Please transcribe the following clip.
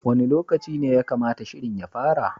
Wani lokaci ne ya kamata shirin ya fara?